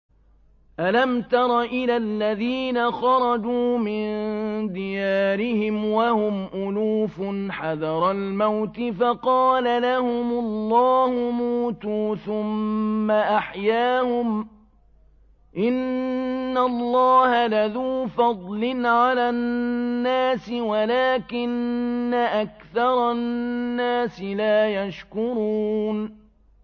۞ أَلَمْ تَرَ إِلَى الَّذِينَ خَرَجُوا مِن دِيَارِهِمْ وَهُمْ أُلُوفٌ حَذَرَ الْمَوْتِ فَقَالَ لَهُمُ اللَّهُ مُوتُوا ثُمَّ أَحْيَاهُمْ ۚ إِنَّ اللَّهَ لَذُو فَضْلٍ عَلَى النَّاسِ وَلَٰكِنَّ أَكْثَرَ النَّاسِ لَا يَشْكُرُونَ